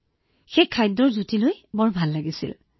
গতিকে প্ৰথমে যেতিয়া আমি চেষ্টা কৰিছিলো এইটো বহুত ভাল লাগিছিল